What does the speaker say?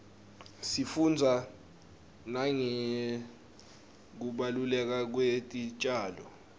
sifunbza nangekubaluleka kwetitjalo